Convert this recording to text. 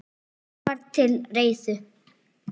Allt var til reiðu.